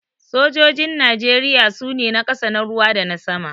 Sojojin Najeriya su ne: na ƙasa, na ruwa dana sama.